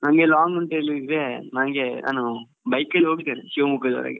ಹೌದ್ ಹೌದು ಹೌದ್ ಹೌದ್ ನಮ್ಗೆ long ಅಂತ ಹೇಳಿದ್ರೆ ನನ್ಗೆ ನಾನು bike ನಲ್ಲಿ ಹೋಗಿದ್ದೇನೆ Shivamogga ದ ವರೆಗೆ.